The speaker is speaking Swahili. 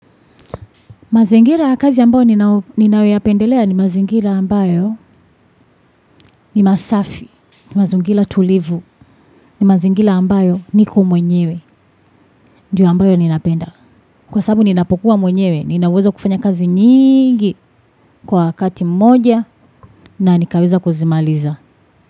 Mazingira ya kazi ambayo ninayoyapendelea ni mazingira ambayo ni masafi, ni mazingira tulivu, ni mazingira ambayo niko mwenyewe, ndiyo ambayo ninapenda. Kwa sababu ninapokuwa mwenyewe, ninaweza kufanya kazi nyingi kwa kati mmoja na nikaweza kuzimaliza.